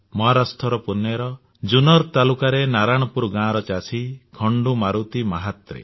ମହାରାଷ୍ଟ୍ରର ପୁଣେର ଜୁନ୍ନର ତାଲୁକାରେ ନାରାୟଣପୁର ଗାଁର ଚାଷୀ ଖଣ୍ଡୁ ମାରୁତି ମାହାତ୍ରେ